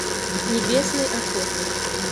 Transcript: небесный охотник